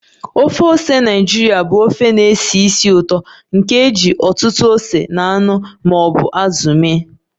Ofe ose Naịjirịa bụ ofe na-esi ísì ụtọ nke e ji ọtụtụ ose na anụ ma ọ bụ azụ mee